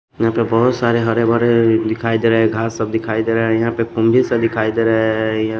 यहां पे बहुत सारे हरे भरे दिखाई दे रहे हैं घांस सब दिखाई दे रहा है यहां पे कंघी सा दिखाई दे रहा है यह --